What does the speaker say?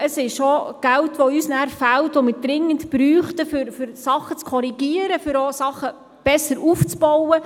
Es ist auch Geld, welches uns nachher fehlt, welches wir dringend brauchen, um Dinge zu korrigieren, um auch Dinge besser aufzubauen.